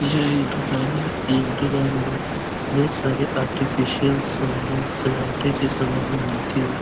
यह एक दुकान है। इस दुकान में बहुत सारे आर्टिफिसियल समाने सजावटे की समाने मिलती है।